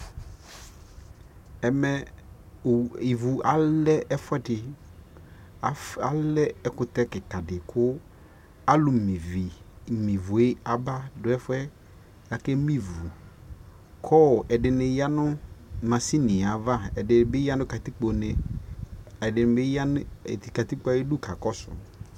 ɛmɛ ivʋ alɛ ɛƒʋɛdi, alɛ ɛkʋtɛ kikaa di kʋ alʋ mè ivʋɛ aba ɛƒʋɛ kʋ akɛ mè ivʋ kʋ ɛdini yanʋ mashiniɛ aɣa, ɛdibi yanʋ katikpɔ nɛ, ɛdini bi yanʋ katikpɔɛ ayidʋ kakɔsʋ